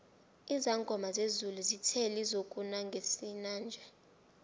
izangoma zezulu zithe lizokuna ngesinanje